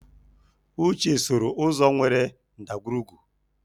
Uche sooro ụzọ nwere ndagwurugwu.